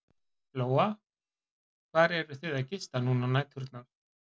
Lóa: Hvar eruð þið að gista núna á næturnar?